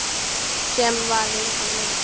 Sem var vinkona mín.